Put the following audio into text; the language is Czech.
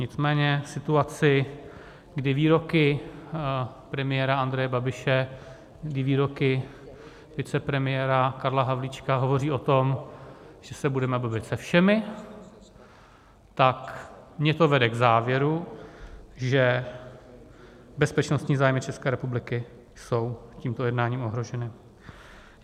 Nicméně v situaci, kdy výroky premiéra Andreje Babiše, kdy výroky vicepremiéra Karla Havlíčka hovoří o tom, že se budeme bavit se všemi, tak mě to vede k závěru, že bezpečnostní zájmy České republiky jsou tímto jednáním ohroženy.